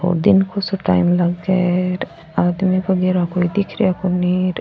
ओ दिन सो को टाइम लाग आदमी वगेरा कोई दिख रा कोनी र।